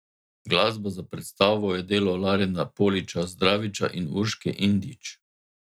Glasba za predstavo je delo Larena Poliča Zdraviča in Urške Indjić.